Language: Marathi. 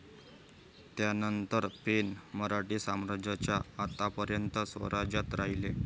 यानंतर, पेण मराठी साम्राज्याच्या अंतापर्यंत स्वराज्यात राहिले.